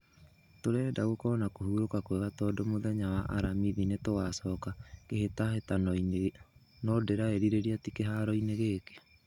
Tũrenda gũkorwo na kũhuroka kwega tondo mũthenya wa aramithi nĩtũgacoka kĩhĩtahĩtano inĩ , no ndĩraerireria ti kĩharo inĩ gĩkĩ."